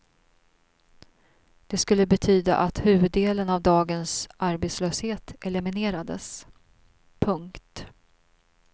Det skulle betyda att huvuddelen av dagens arbetslöshet eliminerades. punkt